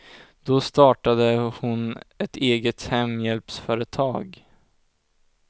Då startade hon ett eget hemhjälpsföretag.